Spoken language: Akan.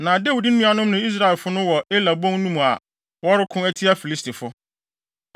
Na Dawid nuanom ne Israel asraafo no wɔ Ela bon no mu a wɔreko atia Filistifo.”